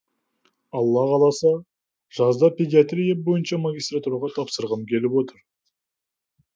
алла қаласа жазда педиатрия бойынша магистратураға тапсырғым келіп отыр